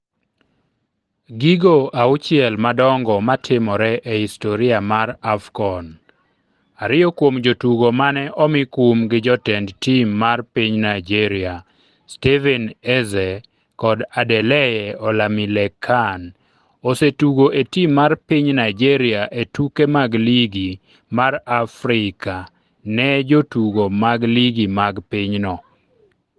Gigo auchiel madongo matimore e historia mar AFCON Ariyo kuom jotugo mane omi kum gi jotend tim mar piny Naijeria, Stephen Eze kod Adeleye Olamilekan, osetugo e tim mar piny Naijeria e tuke mag Ligi mar Afrika ne jotugo mag ligi mag pinyno.